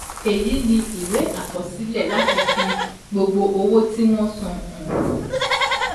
Èyí ni ìwé àkọsílẹ̀ láti fi gbogbo owó tí wọ́n san hàn